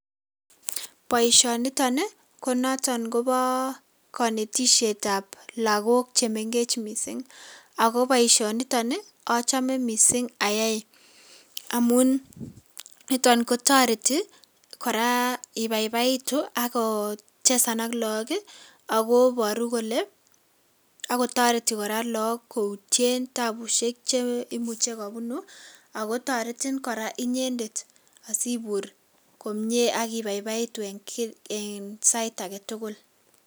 Boisionnito ni ko noton kobo konetisietab lagok che mengech mising. Ako boisionitoni achame mising ayai amun niton ko toreti kora ibaibaitu, ako chesan ako look akoboru kole, akotoreti kora look koutien tabusiek che imuche kobunu ,akotoretin kora inyendet asibur komie akibaibaitu eng sait age tugul.